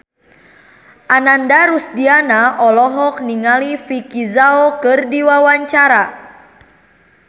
Ananda Rusdiana olohok ningali Vicki Zao keur diwawancara